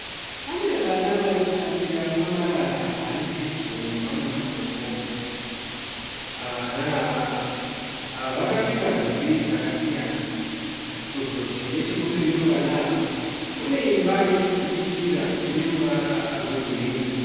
Pane vana vari kutambira pamarara ari pedyo nemamwe matombo. Vana ava vakapfeka nhumbi dzakasiyana. Kuzoti nechekumberi kwevana ava kune imba iri kubudikira ine ruvara rwegirinhi.